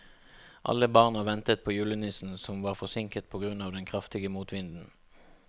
Alle barna ventet på julenissen, som var forsinket på grunn av den kraftige motvinden.